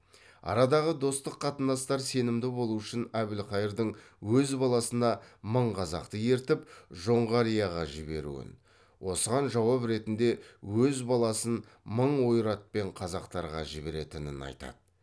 арадағы достық қатынастар сенімді болу үшін әбілқайырдың өз баласына мың қазақты ертіп жоңғарияға жіберуін осыған жауап ретінде өз баласын мың ойратпен қазақтарға жіберетінін айтады